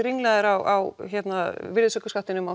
ringlaðir á virðisaukaskattinum á